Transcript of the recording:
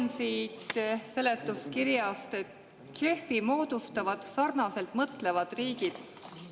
Loen siit seletuskirjast, et JEF‑i moodustavad sarnaselt mõtlevad riigid.